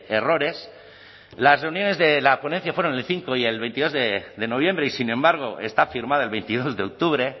errores las reuniones de la ponencia fueron el cinco y el veintidós de noviembre y sin embargo está firmada el veintidós de octubre